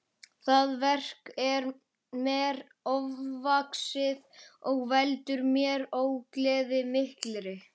Það verk er mér ofvaxið og veldur mér ógleði mikilli.